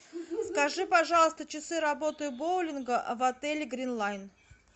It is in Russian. скажи пожалуйста часы работы боулинга в отеле гринлайн